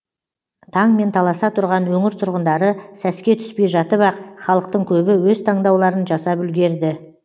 таңмен таласа тұрған өңір тұрғындары сәске түспей жатып ақ халықтың көбі өз таңдауларын жасап үлгерді